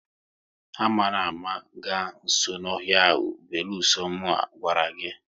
Ama na ama ga nso n'ọhịa ahụ, beluso mu a gwara gị ga!